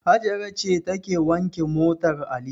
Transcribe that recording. Hajara ce take wanke motar Ali.